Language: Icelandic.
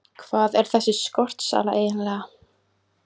Hvað er þessi skortsala eiginlega?